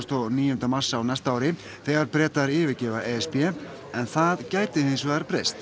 og níunda mars á næsta ári þegar Bretar yfirgefa e s b en það gæti hins vegar breyst